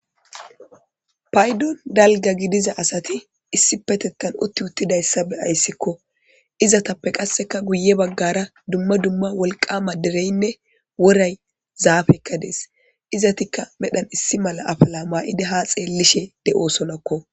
paydon dalga gidiza asati issi petetan utti uttidayssa be ayssikko izatappe qasseka guye baggara dumma dumma wolqama dereynne woray zaafekka dees izatikka medhan issi mala afala maa7idi ha xeellishe de7osonakko